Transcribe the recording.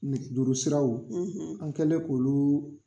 Nege juru siraw an kɛlen k'olu